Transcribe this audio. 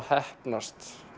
heppnist